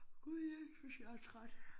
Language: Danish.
Gud jeg synes jeg er træt